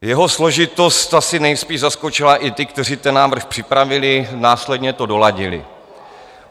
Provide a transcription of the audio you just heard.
Jeho složitost asi nejspíš zaskočila i ty, kteří ten návrh připravili, následně to doladili.